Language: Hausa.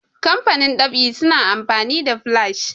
kamfanin ɗab'i suna amfani da flash